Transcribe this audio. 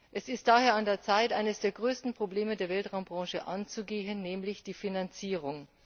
Es ist daher an der Zeit, eines der größten Probleme der Weltraumbranche anzugehen, nämlich die Finanzierung.